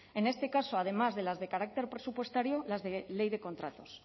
en este caso además de las de carácter presupuestario las de ley de contratos